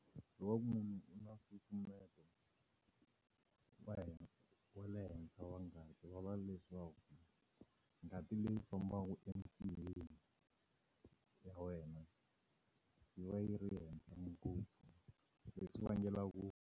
Loko va ku munhu u na nsusumeto wa le henhla wa ngati va leswaku, ngati leyi fambaka eminsiheni ya wena yi va yi ri henhla ngopfu leswi vangelaku .